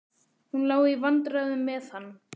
Hún á í vandræðum með hann.